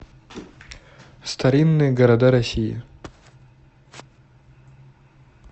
старинные города россии